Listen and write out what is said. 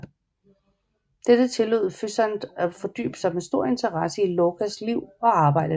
Dette tillod Physant at fordybe sig med stor interesse i Lorcas liv og arbejde